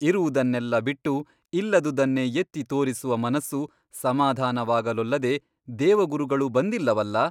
ಇರುವುದನ್ನೆಲ್ಲ ಬಿಟ್ಟು ಇಲ್ಲದುದನ್ನೇ ಎತ್ತಿ ತೋರಿಸುವ ಮನಸ್ಸು ಸಮಾಧಾನವಾಗಲೊಲ್ಲದೆ ದೇವಗುರುಗಳು ಬಂದಿಲ್ಲವಲ್ಲ?